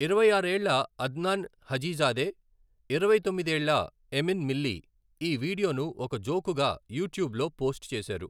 ఇరవై ఆరు ఏళ్ల అద్నాన్ హాజిజాదే, ఇరవై తొమ్మిది ఏళ్ల ఎమిన్ మిల్లీ, ఈ వీడియోను ఒక జోకుగా యూట్యూబ్లో పోస్ట్ చేశారు.